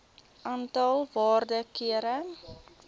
aantal waarde kere